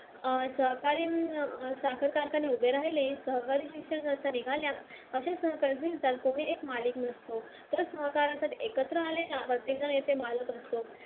अं सहकार्याने साखर कारखाने उभे राहिले